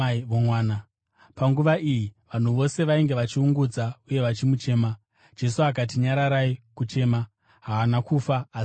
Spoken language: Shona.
Panguva iyi, vanhu vose vainge vachiungudza uye vachimuchema. Jesu akati, “Nyararai kuchema. Haana kufa asi avete.”